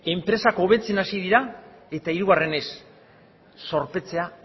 enpresak hobetzen hasi dira eta hirugarrenez zorpetzea